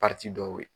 dɔw ye